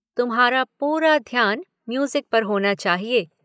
तुम्हारा पूरा ध्यान म्यूज़िक पर होना चाहिए।